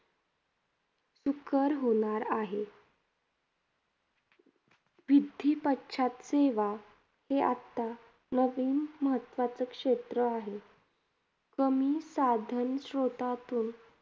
सुकर होणार आहे. सेवा हे आत्ता नवीन महत्वाचं क्षेत्र आहे. कमी साधन श्रोतातून